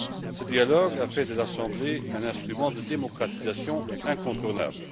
Ce dialogue a fait de l'Assemblée un instrument de démocratisation incontournable.